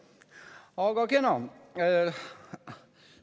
Aga kena!